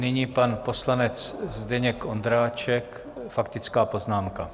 Nyní pan poslanec Zdeněk Ondráček, faktická poznámka.